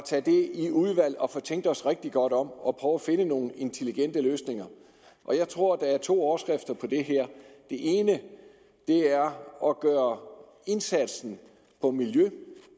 tænke os rigtig godt om og prøve at finde nogle intelligente løsninger jeg tror der er to overskrifter på det her den ene er at gøre indsatsen for miljøet